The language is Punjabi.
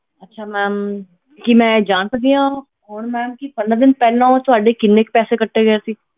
ਅੱਛਾ ma'am ਕੀ ਮੈਂ ਜਾਣ ਸਕਦੀ ਹਾਂ ਹੁਣ ma'am ਕਿ ਪੰਦਰਾਂ ਦਿਨ ਪਹਿਲਾਂ ਉਹ ਤੁਹਾਡੇ ਕਿੰਨੇ ਕੁ ਪੈਸੇ ਕੱਟੇ ਗਏ ਸੀ।